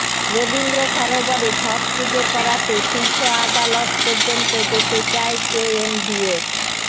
রবীন্দ্র সরোবরে ছট পুজো করাতে শীর্ষ আদালত পর্যন্ত যেতে চায় কেএমডিএ